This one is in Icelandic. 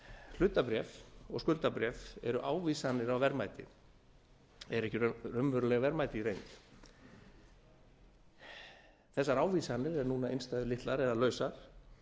hlutabréf af skuldabréf eru ávísanir á verðmætið er ekki raunverulegt verðmæti í reynd þessar ávísanir eru núna innstæðulitlar eða lausar